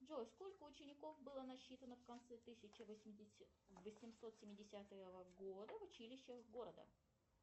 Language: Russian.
джой сколько учеников было насчитано в конце тысяча восемьсот семидесятого года в училищах города